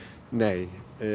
nei